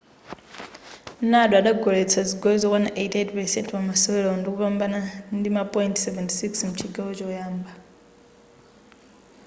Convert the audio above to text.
nadal adagoletsa zigoli zokwana 88% pamasewerowo ndikupambana ndima point 76 mchigawo choyamba